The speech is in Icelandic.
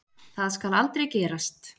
Það skal aldrei gerast.